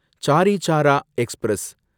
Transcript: sorry Sara express